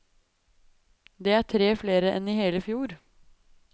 Det er tre flere enn i hele fjor.